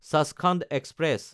Sachkhand express